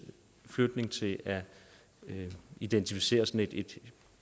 flytning til at identificere sådan et i